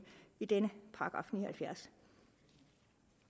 i denne § ni og halvfjerds